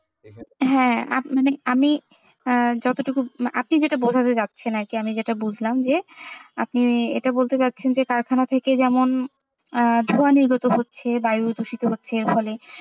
হ্যাঁ আপনার, আমি আহ যতটুকু আপনি যেটা বোঝাতে যাচ্ছেন আরকি আমি যেটা বুঝলাম যে আপনি এটা বলতে চাচ্ছেন যে কারখানা থেকে যেমন আহ ধোঁয়া নির্গত হচ্ছে বায়ু দুষিত হচ্ছে ফলে,